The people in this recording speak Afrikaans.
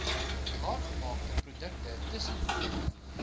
klaargemaakte produkte tussenprodukte